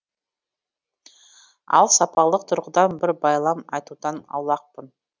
ал сапалық тұрғыдан бір байлам айтудан аулақпын